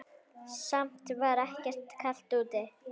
Samt var ekkert kalt úti.